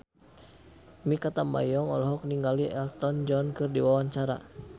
Mikha Tambayong olohok ningali Elton John keur diwawancara